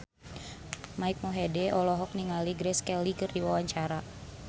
Mike Mohede olohok ningali Grace Kelly keur diwawancara